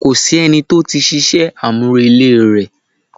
Kò sí ẹnì tí ó ti ṣe iṣẹ́ àmùrè lè rẹ̀.